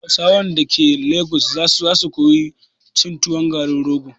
Hausawan dake lagos za su koyi cin tuwon garin rogo